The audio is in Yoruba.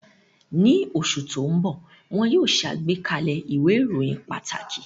Ní oṣù tó ń bọ̀, wọ́n yóò ṣe àgbékalẹ̀ ìwé ìròyìn pàtàkì